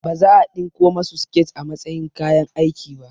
Baza a ɗinko masu siket a matsayin kayan aiki ba